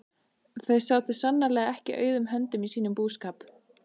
Þau sátu sannarlega ekki auðum höndum í sínum búskap.